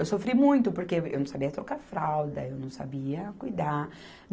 Eu sofri muito porque eu, eu não sabia trocar fralda, eu não sabia cuidar.